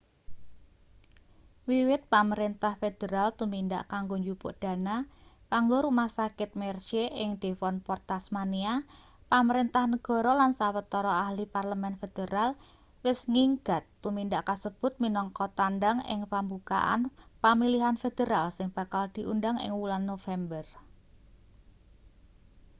wiwit pamrentah federal tumindak kanggo njupuk dana kanggo rumah sakit mersey ing devonport tasmania pamrentah negara lan sawetara ahli parlemen federal wis nggigat tumindak kasebut minangka tandang ing pambukaan pamilihan federal sing bakal diundang ing wulan nopember